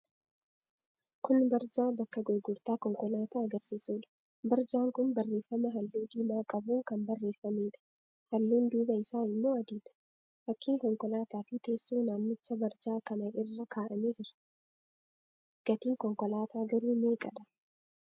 Kun barjaa bakka gurgurtaa konkolaataa agarsiisuudha. Barjaan kun barreeffama halluu diimaa qabuun kan barreeffameedha. Halluun duubaa isaa immoo adiidha. Fakkiin konkolaataafi teessoon manichaa barjaa kana irra kaa'amee jira. Gatiin konkolaataa garuu meeqadha?